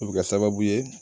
O bɛ ka sababu ye